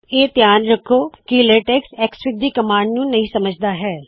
ਇਹ ਧਿਆਨ ਰੱਖੋ ਕੀ ਲੇਟੇਕ੍ਸ ਐਕਸਐਫਆਈਜੀ ਦੀ ਕਮਾੰਡ ਨੂੰ ਨਹੀ ਸਮਝਦਾ ਹੈ